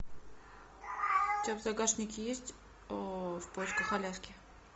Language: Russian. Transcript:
у тебя в загашнике есть в поисках аляски